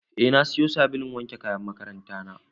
Eh na siyo sabulun wanke kayan makaranta na.